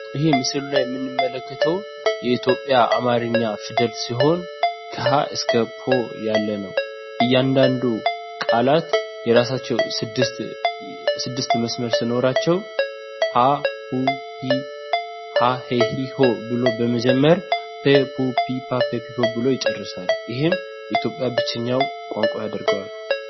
ይህ ምስሉ ላይ የምንመለከተው የኢትዮጵያ አማርኛ ፊደል ሲሆን ከሀ እስከ ፐ ያለ ነው። እያንዳንዱ ቃላት የራሳቸው ስድስት መስመር ሲኖራቸው ሀ ሁ ሂ ሃ ሄ ህ ሆ ብሎ በመጀመር ፐ ፑ ፒ ፓ ፔ ፕ ፖ ብሎ ይጨርሳል ይህም የኢትዮጵያ ብቸኛው ቋንቋ ያደርገዋል።